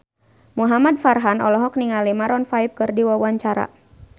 Muhamad Farhan olohok ningali Maroon 5 keur diwawancara